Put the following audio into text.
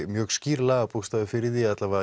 mjög skýr lög fyrir því eða